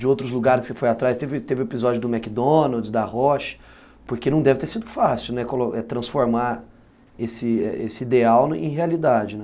De outros lugares que você foi atrás, teve teve o episódio do McDonald's, da Roche, porque não deve ter sido fácil, né, transformar esse ideal em realidade, né?